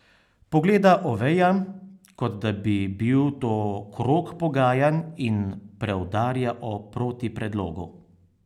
Pogleda Oveja, kot da bi bil to krog pogajanj, in preudarja o protipredlogu.